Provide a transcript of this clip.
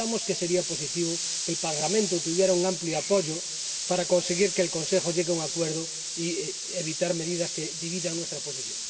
Pensamos que sería positivo que en el Parlamento tuviera un amplio apoyo para conseguir que el Consejo llegue a un acuerdo y evitar medidas que dividan nuestra posición.